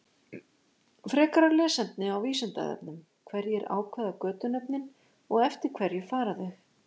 Frekara lesefni á Vísindavefnum: Hverjir ákveða götunöfnin og eftir hverju fara þau?